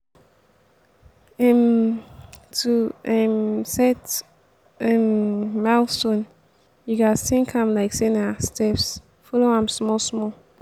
um to um set um milestone you gats think am like sey na steps follow am small small